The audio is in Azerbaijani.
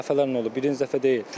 Dəfələrlə olub, birinci dəfə deyil.